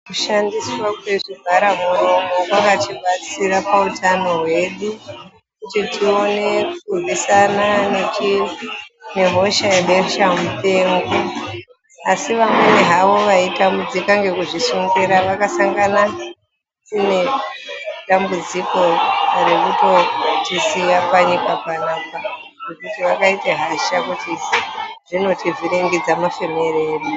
Kushandiswa kwezvivhara muromo kwakatibatsira pautano hwedu , kuti tione kurwisana nehosha yebesha mupengo. Asi vamweni havo vaitambudzika ngekuzvisungira vakasangana nedambudziko rekutotisiya panyika panapa, ngekuti vakaita hasha kuti zvinotivhirigidza mafemere edu